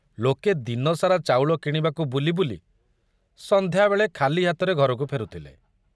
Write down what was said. ଲୋକେ ଦିନସାରା ଚାଉଳ କିଣିବାକୁ ବୁଲି ବୁଲି ସନ୍ଧ୍ୟାବେଳେ ଖାଲି ହାତରେ ଘରକୁ ଫେରୁଥିଲେ।